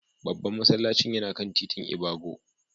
Babban masallacin yana kan titin ibago.